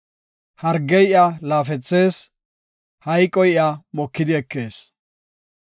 Hargey iya laafethees; hayqoy iya mokidi ekees.